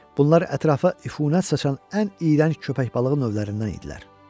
Bunlar ətrafa üfunət saçan ən iyrənc köpək balığı növlərindən idilər.